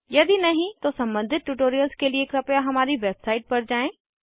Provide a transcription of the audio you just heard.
यदि नहीं तो सम्बंधित ट्यूटोरियल्स के लिए कृपया हमारी वेबसाइट पर जाएँ